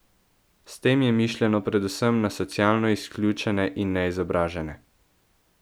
S tem je mišljeno predvsem na socialno izključene in neizobražene.